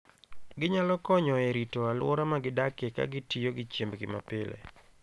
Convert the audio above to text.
Ginyalo konyo e rito alwora ma gidakie ka gitiyo gi chiembgi mapile.